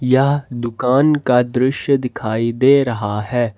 यह दुकान का दृश्य दिखाई दे रहा है।